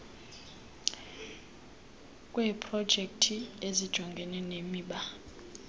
kweeprojekthi ezijongene nemiba